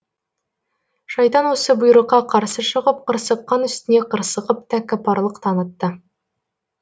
шайтан осы бұйрыққа қарсы шығып қырсыққан үстіне қырсығып тәкаппарлық танытты